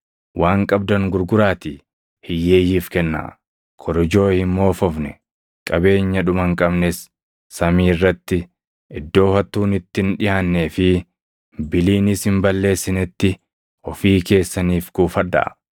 Waan qabdan gurguraatii hiyyeeyyiif kennaa. Korojoo hin moofofne, qabeenya dhuma hin qabnes samii irratti, iddoo hattuun itti hin dhiʼaannee fi biliinis hin balleessinetti ofii keessaniif kuufadhaa.